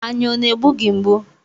Anya ọ na-egbu gị mgbu?